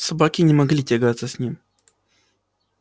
собаки не могли тягаться с ним